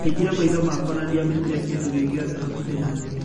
Ndahingire maitho makwa na ndiamenyire kĩndũ gĩogĩothe hakũhĩ nanie.